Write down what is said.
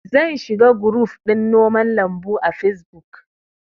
Zan shiga guruf ɗin noman lambu a fesbuk